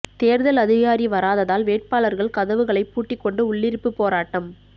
தேர்தல் அதிகாரி வராததால் வேட்பாளர்கள் கதவுகளை பூட்டிக் கொண்டு உள்ளிருப்பு போராட்டம்